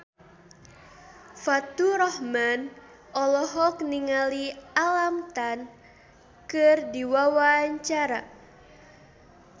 Faturrahman olohok ningali Alam Tam keur diwawancara